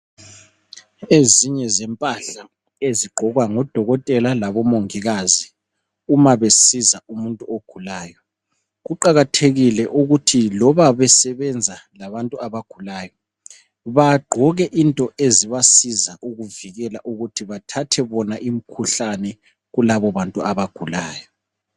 Ezinye zempahla ezigqokwa ngodokotela labomongikazi umabesiza umuntu ogulayo, kuqakathekile ukuthi loba besebenza labantu abagulayo bagqoke into ezibasiza ukuvikela ukuthi bathathe bona imikhuhlane kulabo bantu abagulayo.